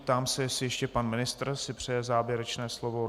Ptám se, jestli ještě pan ministr si přeje závěrečné slovo.